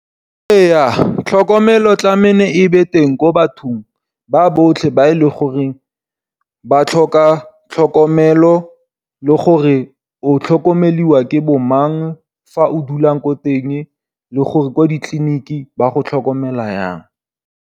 Ee tlhokomelo tlamele e nne teng ko bathong ba botlhe ba e leng gore ba tlhoka tlhokomelo, le gore o tlhokomelwa ke bo mang fa o dulang ko teng le gore ko ditleliniking ba go tlhokomela jang.